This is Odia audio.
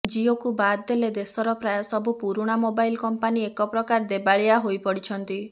ଜିଓକୁ ବାଦ ଦେଲେ ଦେଶର ପ୍ରାୟ ସବୁ ପୁରୁଣା ମୋବାଇଲ୍ କଂପାନି ଏକପ୍ରକାର ଦେବାଳିଆ ହୋଇପଡ଼ିଛନ୍ତି